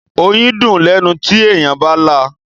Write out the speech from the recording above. Oyín dùn lẹ́nu tí èèyàn bá là.